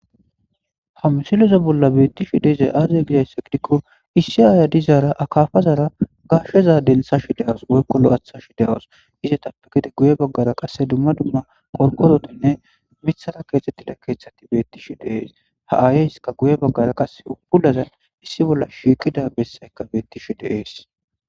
ha msilozo bolla beettishi deezey aaze gidaysse gidikko issi aaya dizaara akaafazara gashsheza densashi de7os woykkolo aathashi de7wos izetappekede guye baggara qasse dumma dumma korqozotinne mithara keexettida keeththati bettishi deees ha7aayeyska guye baggara qase ubpulazan issi bolla shiikida bessaykka beettishi deees